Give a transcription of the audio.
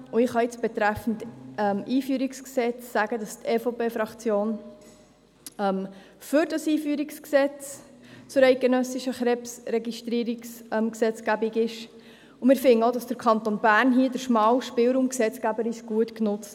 Ich kann sagen, dass die EVP-Fraktion für das EG KRG ist und dass auch wir finden, der Kanton Bern habe die schmale Spur gesetzgeberisch gut genutzt.